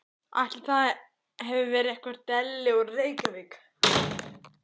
Ætli það hafi ekki verið einhver deli úr Reykjavík.